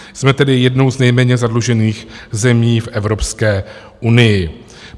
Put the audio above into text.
Jsme tedy jednou z nejméně zadlužených zemí v Evropské unii.